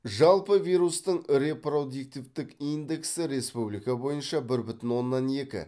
жалпы вирустың репродиктивтік индексі республика бойынша бір бүтін оннан екі